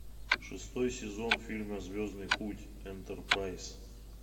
шестой сезон фильма звездный путь энтерпрайз